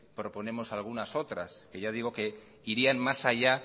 proponemos algunas otras que ya digo que irían más allá